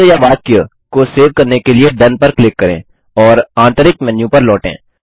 शब्द या वाक्य को सेव करने के लिए डोन पर क्लिक करें और आंतरिक मेन्यू पर लौटें